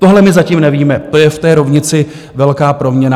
Tohle my zatím nevíme, to je v té rovnici velká proměnná.